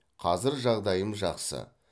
қазір жағдайым жақсы